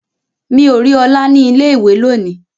Mi o ri ọlá ni ilé ìwé lóni.